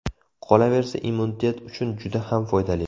Qolaversa, immunitet uchun juda ham foydali.